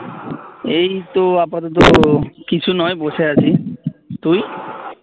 এই তো আপাতত কিছু নয় বসে আছি তুই?